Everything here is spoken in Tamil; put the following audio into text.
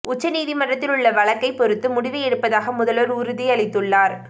உச்சநீதிமன்றத்தில் உள்ள வழக்கை பொறுத்து முடிவு எடுப்பதாக முதல்வர் உறுதி அளித்துள்ளார்